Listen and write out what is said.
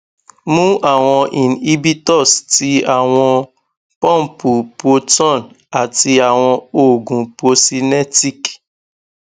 mu awọn inhibitors ti awọn pumpu proton ati awọn oogun procinetic